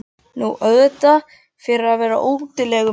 Nú, auðvitað fyrir að vera útilegumaður.